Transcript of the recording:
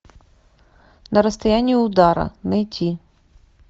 на расстоянии удара найти